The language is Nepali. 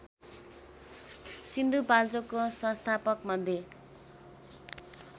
सिन्धुपाल्चोकको संस्थापकमध्ये